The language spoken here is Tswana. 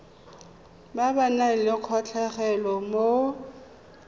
ba nang le kgatlhego mo